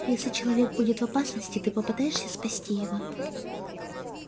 если человек будет в опасности ты попытаешься спасти его